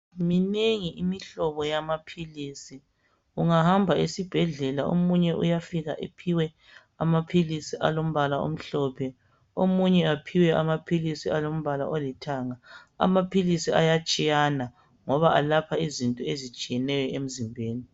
Minengi imihlobo yamaphilisi. Ungahamba esibhedlela, omunye uyafika ephiwe amaphilisi alombala omhlophe. Omunye aphiwe amaphilisi alombala olithanga..Amaphilisi ayatshiyana, ngoba alapha izinto ezitshiyeneyo emzimbeni.